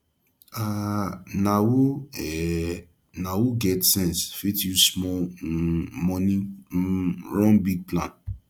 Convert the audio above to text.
um na who um na who get sense fit use small um money um run big plan